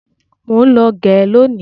Mọ ń lọ gẹ lónìí.